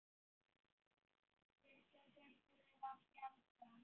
Stundum þurftum við að tjalda.